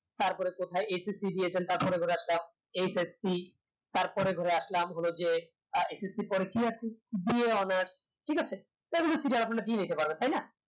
তারপরে কোথায় d দিয়েছেন তারপরে কোথায় একটা ssc তার পরে ঘুরে আসলাম হলো যে এর পরে কি আছে ঠিক আছে এগুলো আপনারা দিয়ে দিতে পারবেন তাইনা